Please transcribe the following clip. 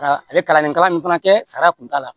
A ye kalanden kalan min fana kɛ sariya kun t'a la